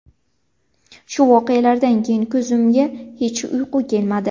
Shu voqealardan keyin ko‘zimga hech uyqu kelmadi.